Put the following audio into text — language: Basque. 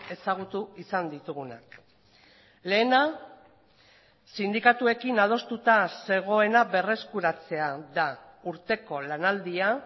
ezagutu izan ditugunak lehena sindikatuekin adostuta zegoena berreskuratzea da urteko lanaldia